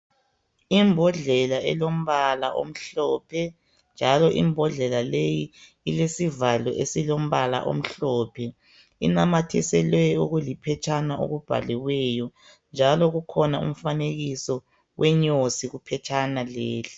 Imbodlela elombala omhlophe njalo imbodlela leyi ilesivalo esilombala omhlophe inamathiselwe okuli phetshana okubhaliweyo njalo kukhona umfanekiso wenyosi kuphetshana leli.